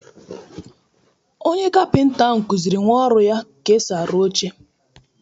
Onye kapịnta ahụ kuziri nnwa ọrụ ya ka esi arụ oche.